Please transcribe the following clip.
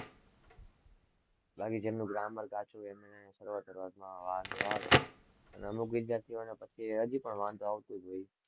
બાકી જેમનું grammar કાચું હોય એમને શરૂઆત-શરૂઆતમાં વાંધો આવે, અને અમુક વિધાર્થીઓને પછી હજી પણ વાંધો આવતો જ હોય છે.